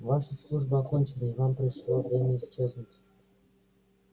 ваша служба окончена и вам пришло время исчезнуть